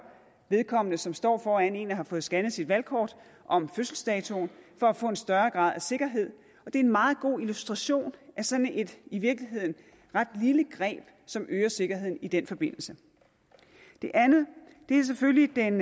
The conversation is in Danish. vedkommende som står foran en og har fået scannet sit valgkort om fødselsdatoen for at få en større grad af sikkerhed det er en meget god illustration af sådan et i virkeligheden ret lille greb som øger sikkerheden i den forbindelse det andet er selvfølgelig den